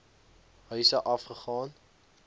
huise af gegaan